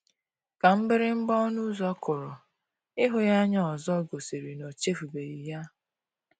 Ka mgbịrịgba ọnụ ụzọ kụrụ, ịhụ ya anya ọzọ gosiri na o echefubeghi ya.